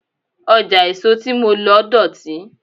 Ọjà èso tí mo lọ dọ̀tí.